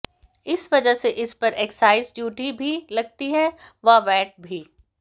इस वजह से इस पर एक्साइज ड्यूटी भी लगती है व वैट भी